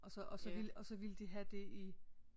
Og så og så ville de have det i